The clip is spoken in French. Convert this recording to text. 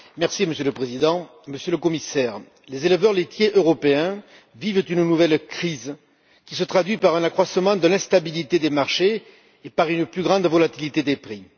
Monsieur le Président, Monsieur le Commissaire, les éleveurs laitiers européens vivent une nouvelle crise, qui se traduit par un accroissement de l'instabilité des marchés et par une plus grande volatilité des prix.